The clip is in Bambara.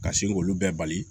Ka sin k'olu bɛɛ bali